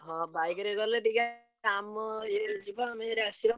ହଁ bike ରେ ଗଲେ ଟିକେ କାମ ଇଏରେ ଯିବା ଆସିବା।